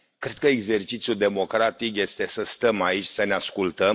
Cred că exercițiul democratic este să stăm aici să ne ascultăm